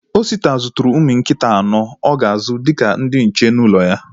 Osita zụtara ụmụ nkịta anọ o ga-azụ dịka ndị nche n'ụlọ ya